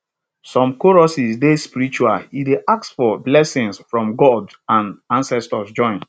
some choruses dey spiritual e dey ask for blessings from god and ancestors join